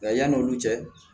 Nka yan'olu cɛ